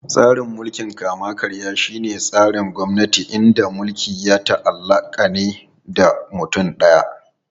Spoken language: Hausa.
Tsarin mulkin kama-karya shine tsarin gwamnati inda mulki ya ta'allaka ne da mutum daya.